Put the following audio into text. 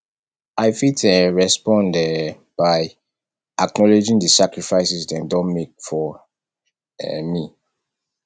i fit um respond um by acknowledging di sacrifices dem don make for um me